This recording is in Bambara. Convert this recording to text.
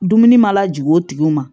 Dumuni mana jigin o tigiw ma